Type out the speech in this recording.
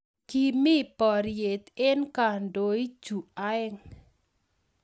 Kimii poriet eng kandoik chu aeng